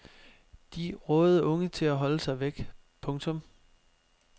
De rådede unge til at holde sig væk. punktum